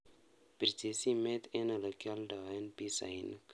Pirchi simet eng olegioldoen pisainik